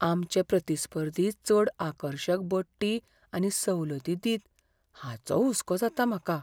आमचे प्रतिस्पर्धी चड आकर्शक बडटी आनी सवलती दित हाचो हुस्को जाता म्हाका.